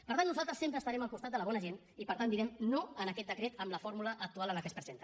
per tant nosaltres sempre estarem al costat de la bona gent i per tant direm no a aquest decret en la fórmula actual en què es presenta